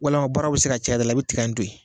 Walama baaraw bi se ka caya i da la i bi tiga in toyi.